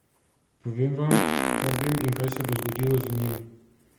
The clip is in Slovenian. Povem vam, kar vem in kaj se bo zgodilo z njim!